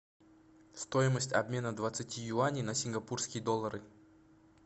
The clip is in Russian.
стоимость обмена двадцати юаней на сингапурские доллары